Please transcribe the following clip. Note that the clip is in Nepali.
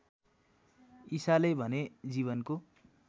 ईसाले भने जीवनको